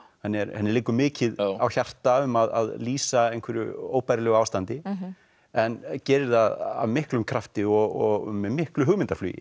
henni liggur mikið á hjarta um að lýsa einhverju óbærilegu ástandi en gerir það af miklum krafti og með miklu hugmyndaflugi